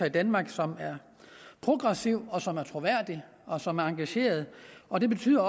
i danmark som er progressiv som er troværdig og som er engageret og det betyder